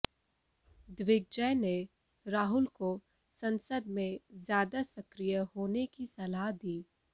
दिग्विजय ने राहुल को संसद में ज्यादा सक्रिय होने की सलाह दी